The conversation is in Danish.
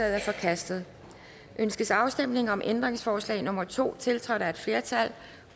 er forkastet ønskes afstemning om ændringsforslag nummer to tiltrådt af et flertal